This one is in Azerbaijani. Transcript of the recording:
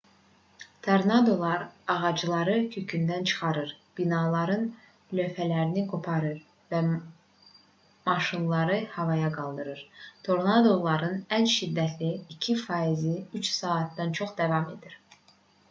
tornadolar ağacları kökündən çıxarır binaların lövhələrini qoparır və maşınları havaya qaldırır tornadoların ən şiddətli 2 faizi üç saatdan çox davam edir